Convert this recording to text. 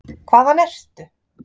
Hvaðan ertu?